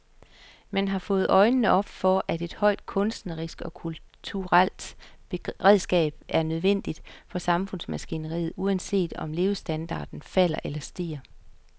Man har fået øjnene op for, at et højt kunstnerisk og kulturelt beredskab er nødvendigt for samfundsmaskineriet, uanset om levestandarden falder eller stiger.